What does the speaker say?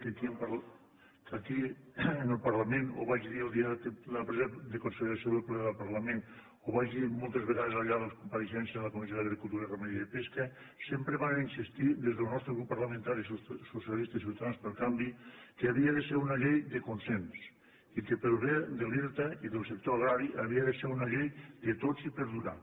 que aquí en el parlament ho vaig dir el dia de la presa en consideració en el ple del parlament ho vaig dir moltes vegades al llarg de les compareixences en la comissió d’agricultura ramaderia i pesca sempre vàrem insistir des del nostre grup parlamentari socialistes ciutadans pel canvi que havia de ser una llei de consens i que pel bé de l’irta i del sector agrari havia de ser una llei de tots i per durar